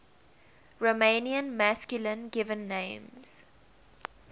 romanian masculine given names